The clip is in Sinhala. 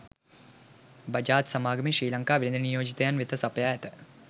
බජාජ් සමාගමේ ශ්‍රී ලංකා වෙළඳ නියෝජිතයින් වෙත සපයා ඇත